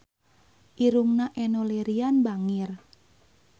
Irungna Enno Lerian bangir